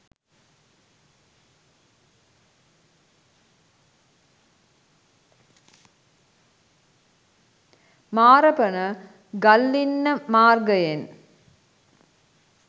මාරපන ගල්ලින්න මාර්ගයෙන්